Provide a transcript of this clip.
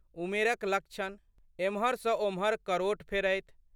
उमेरक लक्षण। एम्हर सँ ओम्हर करोट फेरथि।